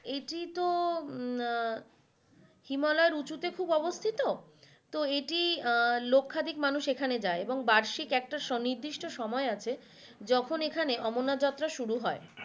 এটি তো আহ হিমালয়ের উঁচুতে খুব অবস্থি তো এটি আহ লক্ষাধিক মানুষ সেখানে যাই এবং বার্ষিক একটি সনির্দিষ্টি সময় আছে যখন এখানে অমরনাথ যাত্ৰা শুরু হয়।